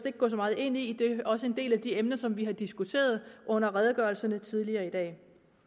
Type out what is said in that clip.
at gå så meget ind i det er også en del af de emner som vi diskuterede under redegørelserne tidligere i dag